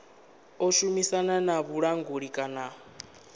ḓo shumisana na vhulanguli kana